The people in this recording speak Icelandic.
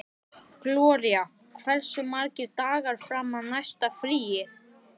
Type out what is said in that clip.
Gloría, hversu margir dagar fram að næsta fríi?